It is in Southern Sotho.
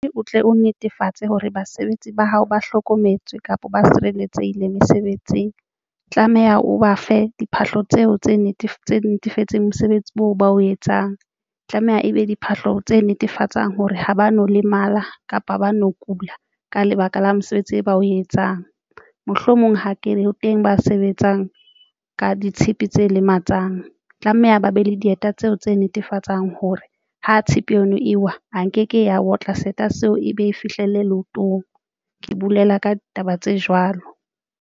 O tle o netefatse hore basebetsi ba hao ba hlokometswe kapa ba sireletsehile mesebetsing, tlameha o ba fe diphahlo tseo tse netefatseng mosebetsi oo ba o etsang tlameha ebe diphahlo tse netefatsang hore ha ba no lemala kapa ba no kula ka lebaka la mosebetsi e ba o etsang. Mohlomong ha ke teng ba sebetsang ka ditshipi tse lematsang. Tlameha ba be le dieta tseo tse netefatsang hore ha tshepe yona eo ewa nke ke ya otla seeta seo e be e fihlelle leotong. Ke bolela ka taba tse jwalo.